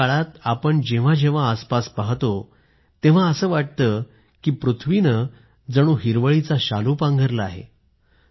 या मोसमात आपण जेव्हा जेव्हा आसपास पाहतो तर असं वाटतं की जणू पृथ्वीनं हिरवळीचा शालू परिधान केला आहे